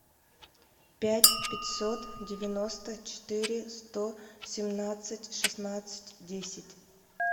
пять пятьсот девяносто четыре сто семнадцать шестнадцать десять